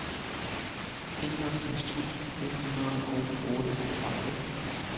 enogtres tusind et hundrede og otteogtredive